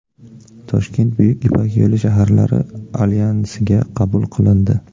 Toshkent Buyuk Ipak yo‘li shaharlari Alyansiga qabul qilindi.